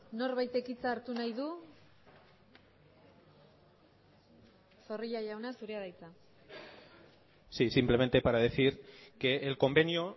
norbaitek hitza hartu nahi du zorrilla jauna zurea da hitza sí simplemente para decir que el convenio